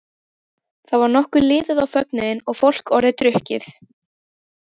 Þá var nokkuð liðið á fögnuðinn og fólk orðið drukkið.